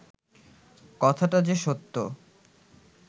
কথাটা যে সত্য